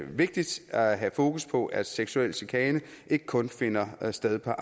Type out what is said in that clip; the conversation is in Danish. vigtigt at have fokus på at seksuel chikane ikke kun finder sted på